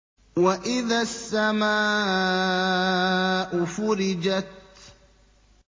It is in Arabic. وَإِذَا السَّمَاءُ فُرِجَتْ